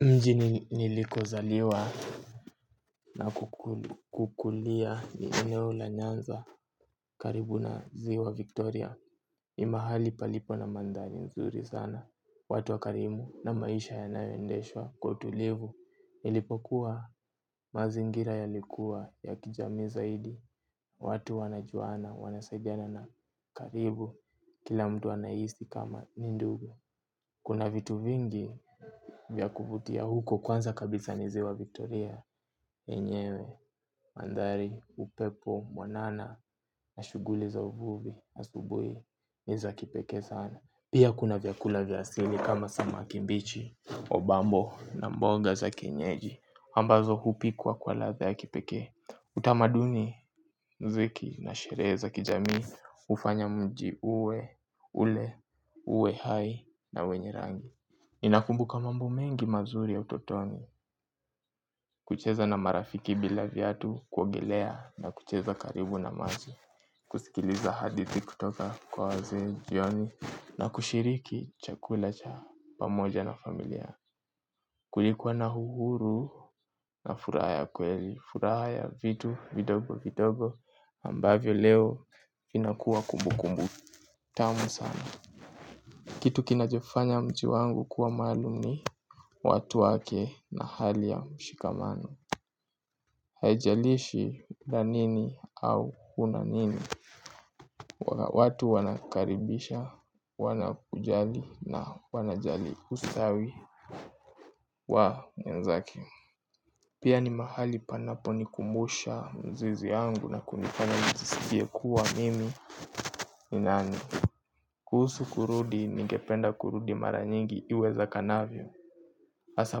Mjini niliko zaliwa na kukulia ni eneo la nyanza karibu na ziwa Victoria. Ni mahali palipo na mandhari nzuri sana. Watu wa karimu na maisha ya nayoendeshwa kwa utulivu. Nilipokuwa mazingira ya likuwa ya kijamii zaidi. Watu wanajuana, wanasaidiana na karibu kila mtu anahisi kama nindugu. Kuna vitu vingi vya kuvutia huko kwanza kabisa niziwa vitoria, enyewe, mandhari, upepo, mwanana na shughuli za uvuvi asubuhi niza kipekee sana. Pia kuna vyakula vya asili kama samakimbichi, obambo na mboga za kienyeji ambazo hupikwa kwa latha ya kipekee. Utamaduni, mziki, na sherehe za kijamii ufanya mji uwe, ule, uwe hai, na wenye rangi ninakumbuka mambo mengi mazuri ya utotoni. Kucheza na marafiki bila viatu, kuogelea, na kucheza karibu na maji. Kusikiliza hadithi kutoka kwa wazee, jioni. Na kushiriki chakula cha pamoja na familia. Kulikuwa na uhuru na furaha kweli furaha ya vitu vidogo vidogo ambavyo leo inakuwa kumbu kumbu tamu sana kitu kinajofanya mji wangu kuwa maluum ni watu wake na hali ya mshikamano haijalishi nanini au unanini watu wanakaribisha, wanakujali na wanajali ustawi wa mwenzake pia ni mahali panapo nikumbusha mzizi yangu. Kuna kunifanya nijiskie kuwa mimi. Ni nani. Kuhusu kurudi ningependa kurudi mara nyingi iweza kanavyo. Asa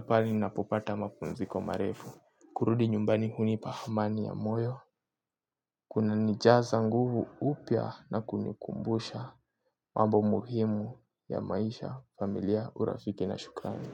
pale ninapopata mapumziko marefu. Kurudi nyumbani hunipa hamani ya moyo. Kuna nijaza nguvu upya na kunikumbusha mambo muhimu ya maisha familia urafiki na shukani.